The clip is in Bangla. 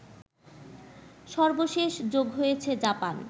সর্বশেষ যোগ হয়েছে জাপান